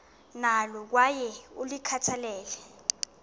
nalo kwaye ulikhathalele